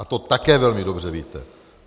A to také velmi dobře víte.